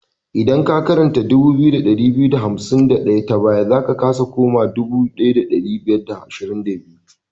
Idan ka karanta 2251 ta baya, za ka su koma 1522.